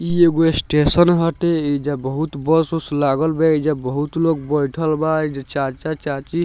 ई एगो स्टेशन हटे एइजा बहुत बस उस लागल बा एइजा बहुत लोग बइठल बा एइजा चाचा-चाची --